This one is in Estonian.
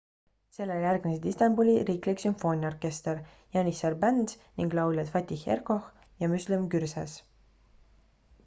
sellele järgnesid istanbuli riiklik sümfooniaorkester janissar band ning lauljad fatih erkoç ja müslüm gürses